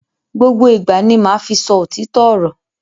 Gbogbo ìgbà ni ma fi sọ òtítọ ọrọ.